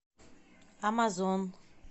амазон